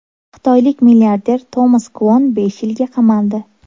Xitoylik milliarder Tomas Kvok besh yilga qamaldi.